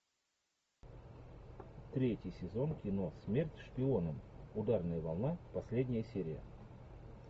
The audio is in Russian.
третий сезон кино смерть шпионам ударная волна последняя серия